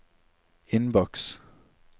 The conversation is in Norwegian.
innboks